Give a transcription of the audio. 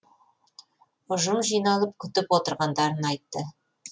ұжым жиналып күтіп отырғандарын айтты